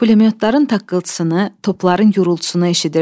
Pulyotların taqqıltısını, topların gurultusunu eşidirdim.